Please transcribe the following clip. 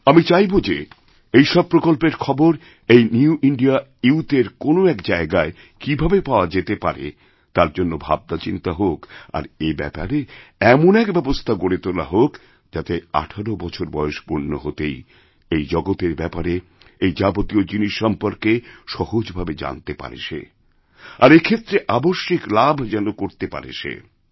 আমি চাইব যে এই সবপ্রকল্পের খবর এই নিউ ইন্ডিয়া ইউথ এর কোনো এক জায়গায় কীভাবে পাওয়া যেতেপারে তার জন্য ভাবনাচিন্তা হোক আর এ ব্যাপারে এমন এক ব্যবস্থা গড়ে তোলা হোক যাতেআঠেরো বছর বয়স পূর্ণ হতেই এই জগতের ব্যাপারে এই যাবতীয় জিনিস সম্পর্কে সহজভাবেজানতে পারে সে আর এক্ষেত্রে আবশ্যিক লাভ যেন করতে পারে সে